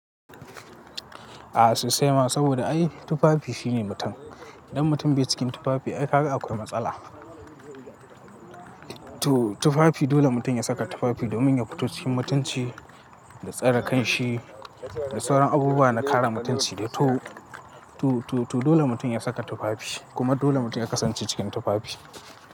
A sosai ma saboda ai tufafi shine mutum. Idan mutum bai cikin tufafi ai haka akwai matsala. To tufafi dole mutum ya saka tufafi domin ya fito cikin mutunci da tsare kanshi da sauran abubuwa na kare mutunci. To dole mutum ya saka tufafi kuma dole mutum ya kasance cikin tufafi.